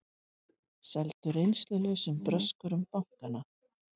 Seldu reynslulausum bröskurum bankana